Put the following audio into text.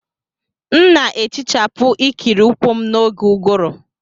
M na-ehichapụ ikiri ụkwụ m n'oge ụ́gụụ̀rụ́.